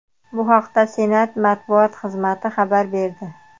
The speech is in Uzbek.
Bu haqda Senat matbuot xizmati xabar berdi .